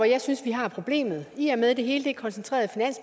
jeg synes vi har problemet i og med at det hele er koncentreret